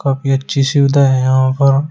काफी अच्छी सुविधा है यहां पर--